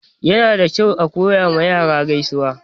Yana da kyau a koya ma yara gaisuwa.